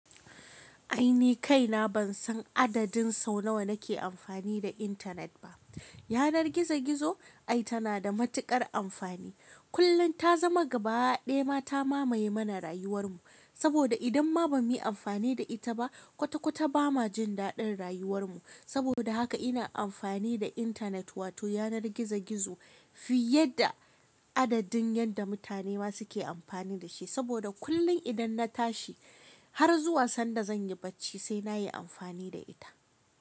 Ai ni kaina ban san adadin sau nawa nake amfani da intanet ba. Yanar gizo-gizo ai tana da matuƙar amfani. Kullum ta zama gaba ɗaya ma ta mamaye mana rayuwar mu. Saboda idan ma ban yi amfani da ita ba, kwata-kwata ba ma jin daɗin rayuwar mu. Saboda haka ina amfani da intanet wato yanar gizo-gizo fiye da adadin yadda mutane ma suke amfani da shi. Saboda kullum idan na tashi har zuwa sanda zan yi bacci sai na yi amfani da ita.